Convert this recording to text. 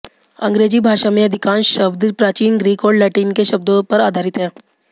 अंग्रेजी भाषा में अधिकांश शब्द प्राचीन ग्रीक और लैटिन के शब्दों पर आधारित हैं